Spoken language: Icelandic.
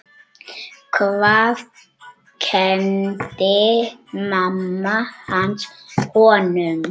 Hvað kenndi mamma hans honum?